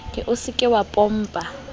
o se ke wa pompa